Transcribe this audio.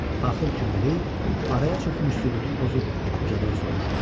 Axır ki, Muley araya çökmüş sükutu pozub ucadan soruşdu: